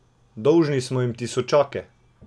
Dolžni smo jim tisočake!